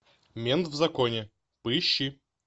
мент в законе поищи